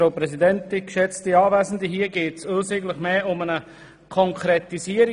In diesem Antrag geht es uns mehr um eine Konkretisierung.